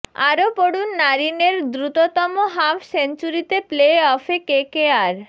আরও পড়ুন নারিনের দ্রুততম হাফ সেঞ্চুরিতে প্লে অফে কেকেআর